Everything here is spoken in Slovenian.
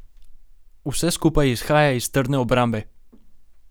Vse skupaj izhaja iz trdne obrambe.